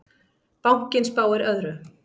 Bankinn spáir öðru.